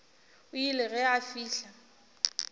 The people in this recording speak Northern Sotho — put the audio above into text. o ile ge a fihla